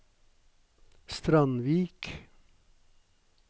Strandvik